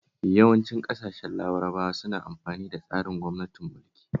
Yawancin ƙasashen Larabawa suna amfani da tsarin gwamnatin mulki